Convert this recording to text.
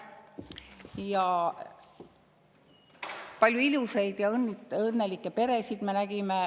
Nägime palju ilusaid ja õnnelikke peresid.